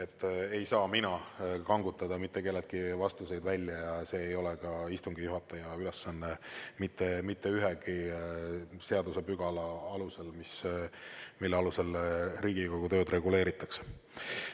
Ma ei saa kangutada mitte kelleltki vastuseid välja ja see ei ole ka istungi juhataja ülesanne mitte ühegi seadusepügala alusel, millega Riigikogu tööd reguleeritakse.